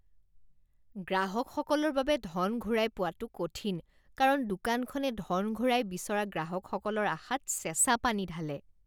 গ্ৰাহকসকলৰ বাবে ধন ঘূৰাই পোৱাটো কঠিন কাৰণ দোকানখনে ধন ঘূৰাই বিচৰা গ্ৰাহকসকলৰ আশাত চেঁচা পানী ঢালে।